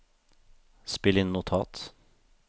spill inn notat